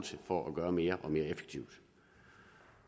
for at gøre noget mere og mere effektivt